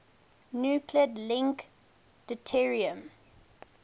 nuclide link deuterium